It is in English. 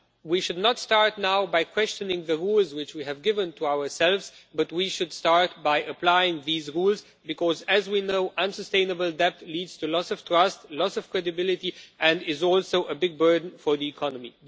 We should not start now by questioning the rules which we have given to ourselves, but we should start by applying these rules, because, as we know, unsustainable debt leads to loss of trust, loss of credibility and is also a big burden for the economy.